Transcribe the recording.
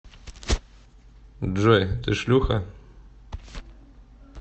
джой ты шлюха